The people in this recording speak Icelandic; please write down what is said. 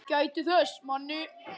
Ég gæti þess.